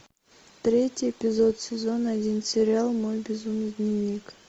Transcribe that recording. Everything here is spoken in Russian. третий эпизод сезон один сериал мой безумный дневник